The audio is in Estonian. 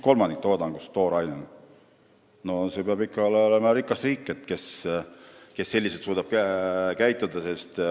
See peab ikka olema üks rikas riik, kes suudab selliselt käituda.